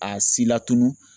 A si la tunu